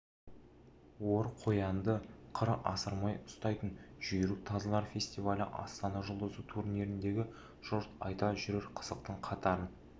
ор қоянды қыр асырмай ұстайтын жүйрік тазылар фестивалі астана жұлдызы турниріндегі жұрт айта жүрер қызықтың қатарын